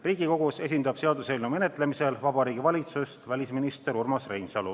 Riigikogus seaduseelnõu menetlemisel esindab Vabariigi Valitsust välisminister Urmas Reinsalu.